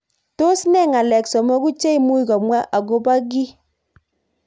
Tos ne ng'alek somoku cheimuch komwa akobo kii.